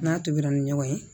N'a tobira ni ɲɔgɔn ye